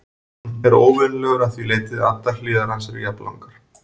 Hann er óvenjulegur að því leyti að allar hliðar hans eru jafnlangar.